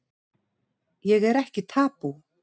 Ég er ekki tabú